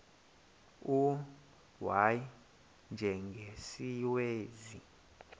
u y njengesiwezi